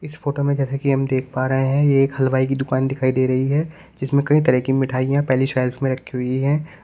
इस फोटो में जैसे कि हम देख पा रहे हैं ये एक हलवाई की दुकान दिखाई दे रही है जिसमें कई तरह की मिठाइयां पहिली शेल्फ में रखी हुई है।